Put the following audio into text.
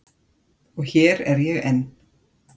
Og hér er ég enn.